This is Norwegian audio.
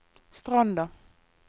Stranda